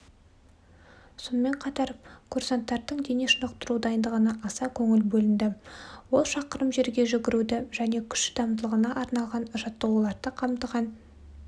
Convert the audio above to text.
сонымен қатар курсанттардың дене шынықтыру дайындығына аса көңіл бөлінді ол шақырым жерге жүгіруді және күш шыдамдылығына арналған жаттығуларды қамтыған